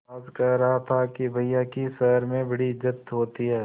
आज कह रहा था कि भैया की शहर में बड़ी इज्जत होती हैं